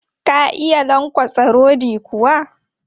Ka iya lankwatsa rodi kuwa?